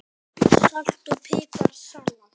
Salt og pipar salat